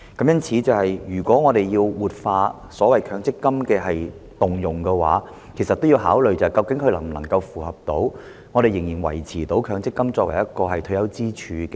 因此，如果我們要活化強積金權益的動用，便須考慮這做法能否維持強積金作為退休支柱。